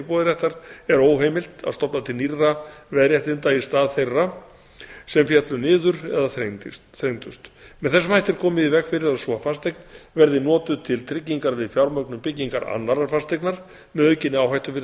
íbúðarréttar er óheimilt að stofna til nýrra veðréttinda í stað þeirra sem féllu niður eða þrengdust með þessum hætti er komið í veg fyrir að sú fasteign verði notuð til tryggingar við fjármögnun byggingar annarrar fasteignar með aukinni áhættu fyrir